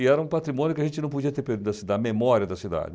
E era um patrimônio que a gente não podia ter perdido da memória da cidade.